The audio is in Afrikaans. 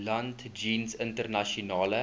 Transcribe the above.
land jeens internasionale